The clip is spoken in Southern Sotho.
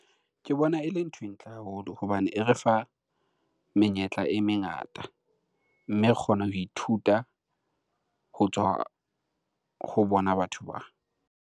Ke bona e le nthwe ntle haholo hobane e re fa menyetla e mengata, mme re kgona ho ithuta ho tswa ho bona batho .